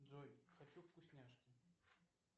джой хочу вкусняшки